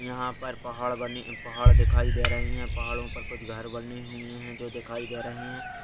यहाँ पर पहाड़ बनी पहाड़ दिखाई दे रही हैं पहाड़ो पर कुछ घर बनी हुई हैं जो दिखाई दे रही हैं।